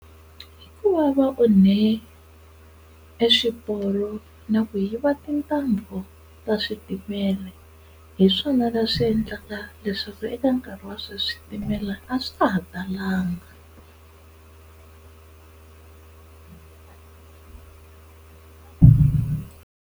Ku va va onhe e swiporo na ku yiva tintambu ta switimela hi swona leswi endlaka leswaku eka nkarhi wa sweswi switimela a swi ta ha talanga.